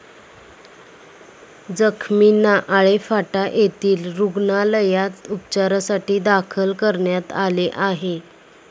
जखमींना आळेफाटा येथील रुग्णालयात उपाचारासाठी दाखल करण्यात आले आहे.